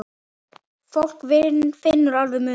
Fólk finnur alveg muninn.